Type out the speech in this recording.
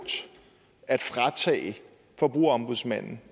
at fratage forbrugerombudsmanden